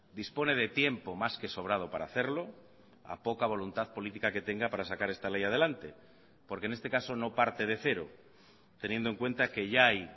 dispone de tiempo más que sobrado para hacerlo a poca voluntad política que tenga para sacar esta ley adelante porque en este caso no parte de cero teniendo en cuenta que ya hay